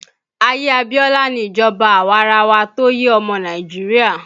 Ayé Abiola ni ìjọba awarawa tó yé ọmọ Nàìjíríà